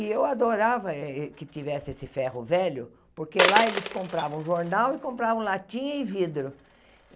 E eu adorava que tivesse esse ferro velho, porque lá eles compravam jornal e compravam latinha e vidro.